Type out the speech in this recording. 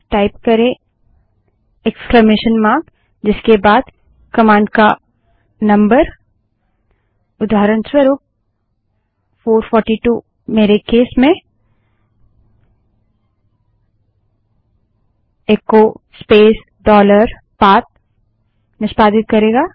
type करें विस्मयादिबोधक चिह्न इक्स्लामेशन मार्क जिसके बाद कमांड का नम्बर उदाहरणस्वरूप 442 मेरे केस में इको स्पेस डॉलर पाथ निष्पादित करेगा